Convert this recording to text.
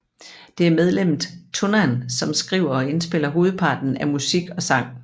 Det er medlemmet Tunnan som skriver og indspiller hovedparten af musik og sang